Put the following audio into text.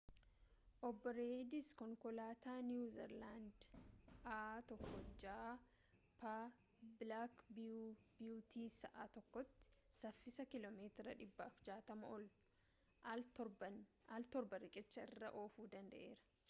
obbo reeyid konkolaataa niiwu ziilaandii a1gp bilaak biyuutii sa'a tokkotti saffisa kiiloo meetira 160 ol al torba riqicha irra oofuu danda'eera